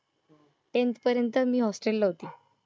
Tenth पर्यंत मी ला होते. होस्टेल